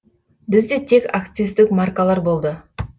бізде тек акциздік маркалар болды